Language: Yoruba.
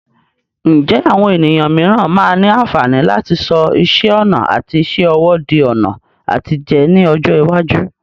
Ǹjẹ́ àwọn ènìyàn mìíràn máa ní àǹfààní láti sọ iṣẹ́ ọnà àti iṣẹ́ ọwọ́ di ọ̀nà àtijẹ ní ọjọ́ iwájú?